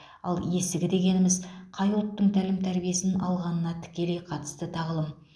ал есігі дегеніміз қай ұлттың тәлім тәрбиесін алғанына тікелей қатысты тағылым